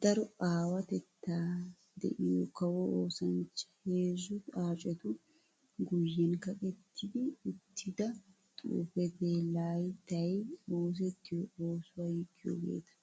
daro awatetta de'iyo kawo oosanchcha. Heezzu xaacetu guyen kaqqetti uttidda xuufetti layttay oosettiya oosuwa yiggiyogetta.